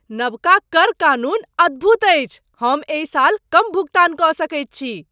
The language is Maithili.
नबका कर कानून अद्भुत अछि! हम एहि साल कम भुगतान क सकैत छी ।